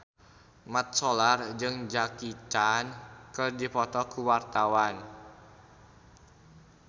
Mat Solar jeung Jackie Chan keur dipoto ku wartawan